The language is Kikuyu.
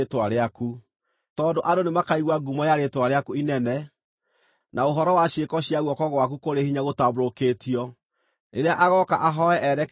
tondũ andũ nĩmakaigua ngumo ya Rĩĩtwa rĩaku inene, na ũhoro wa ciĩko cia guoko gwaku kũrĩ hinya gũtambũrũkĩtio, rĩrĩa agooka ahooe erekeire hekarũ ĩno,